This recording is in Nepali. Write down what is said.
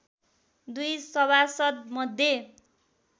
दुई सभासद् मध्ये